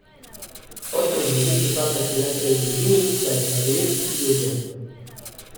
Otrok želi najprej pripadati družini, da je sprejet, ljubljen.